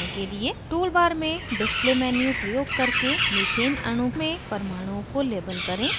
toolbar में display menu प्रयोग करके methane अणु में परमाणुओं को label करें